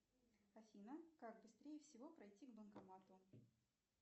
афина как быстрее всего пройти к банкомату